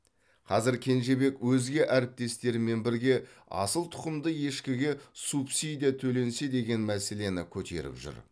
қазір кенжебек өзге әріптестерімен бірге асыл тұқымды ешкіге субсидия төленсе деген мәселені көтеріп жүр